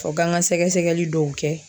Fɔ k'an ka sɛgɛsɛgɛli dɔw kɛ